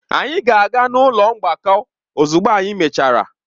Anyị ga-aga n'ụlọ mgbakọ ozugbo anyị mechara.